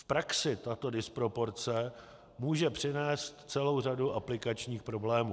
V praxi tato disproporce může přinést celou řadu aplikačních problémů.